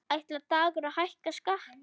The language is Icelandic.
Ætlar Dagur að hækka skatta?